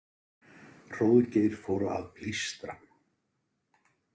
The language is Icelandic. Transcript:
Hróðgeir fór að blístra.